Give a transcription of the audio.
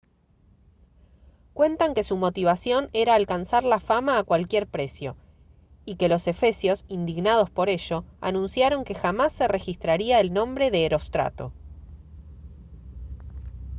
cuentan que su motivación era alcanzar la fama a cualquier precio y que los efesios indignados por ello anunciaron que jamás se registraría el nombre de herostrato